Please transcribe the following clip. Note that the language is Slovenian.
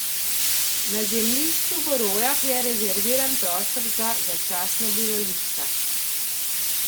Na zemljišču v Rojah je rezerviran prostor za začasna bivališča.